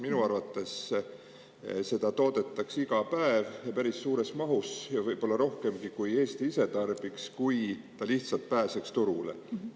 Minu arvates seda toodetakse iga päev ja päris suures mahus ja võib-olla rohkemgi, kui Eesti ise tarbiks, kui see lihtsalt pääseks turule.